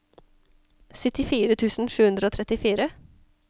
syttifire tusen sju hundre og trettifire